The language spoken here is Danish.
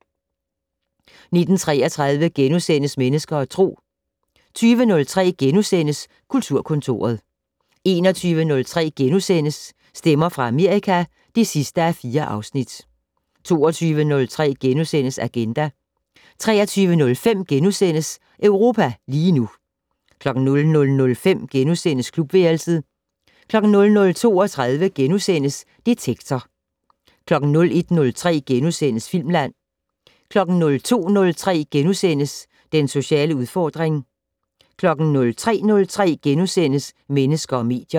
19:33: Mennesker og Tro * 20:03: Kulturkontoret * 21:03: Stemmer fra Amerika (4:4)* 22:03: Agenda * 23:05: Europa lige nu * 00:05: Klubværelset * 00:32: Detektor * 01:03: Filmland * 02:03: Den sociale udfordring * 03:03: Mennesker og medier *